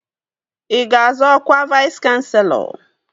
Ị ga-azọ ọkwa Vais kanselọ?